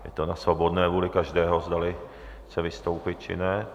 Je to na svobodné vůli každého, zdali chce vystoupit, či ne.